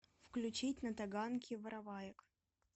включить на таганке вороваек